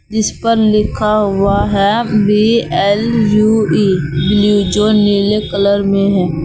इस पर लिखा हुआ है B L U E blue जो नीले कलर में है।